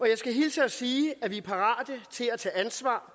jeg skal hilse og sige at vi er parate til at tage ansvar